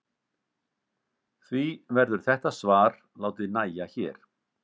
Því verður þetta svar látið nægja hér.